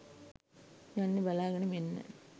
යන්න බලාගෙනම එන්න